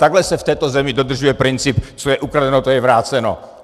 Takhle se v této zemi dodržuje princip co je ukradeno, to je vráceno.